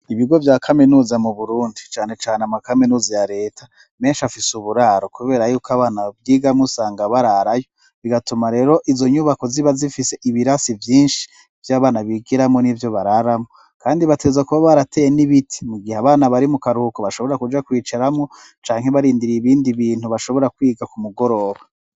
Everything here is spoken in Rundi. Ibigo vya kaminuza mu Burundi canecane amakaminuza ya leta, menshi afise uburaro, kubera yuko abana bavyigamwo usanga bararayo, bigatuma rero izo nyubako ziba zifise ibirasi vyinshi vy'abana bigiramwo n'ivyo bararamwo, kandi bateza kuba barateye n'ibiti mu gihe abana bari mu karuhuko, bashobora kuja kwicaramwo, canke barindiriye ibindi bintu bashobora kwiga ku mugoroba.